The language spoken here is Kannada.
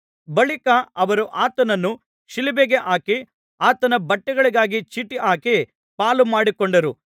ಬಳಿಕ ಅವರು ಆತನನ್ನು ಶಿಲುಬೆಗೆ ಹಾಕಿ ಆತನ ಬಟ್ಟೆಗಳಿಗಾಗಿ ಚೀಟು ಹಾಕಿ ಪಾಲುಮಾಡಿಕೊಂಡರು